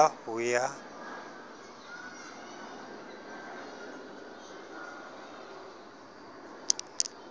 a le tipatipa ho ya